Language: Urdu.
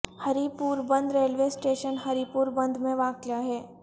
ہری پور Band railway station Haripur Band میں واقع ہے